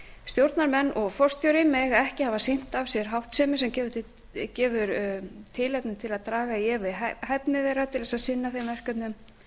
stjórnarmenn og forstjóri mega ekki hafa sýnt af sér háttsemi sem gefur tilefni til að draga í efa hæfni þeirra til að sinna þeim verkefnum